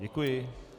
Děkuji.